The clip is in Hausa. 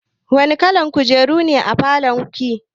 Wani kalan kujeru ne a falon ki?